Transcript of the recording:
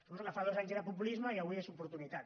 suposo que fa dos anys era populisme i avui és oportunitat